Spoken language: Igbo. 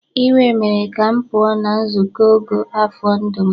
Iwe mere ka m pụọ na nzuko ogo afọ ndụ m.